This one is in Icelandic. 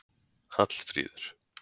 Hallfríður